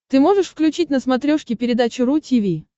ты можешь включить на смотрешке передачу ру ти ви